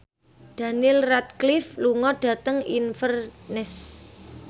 Daniel Radcliffe lunga dhateng Inverness